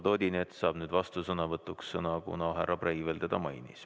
Eduard Odinets saab nüüd vastusõnavõtuks sõna, kuna härra Breivel teda mainis.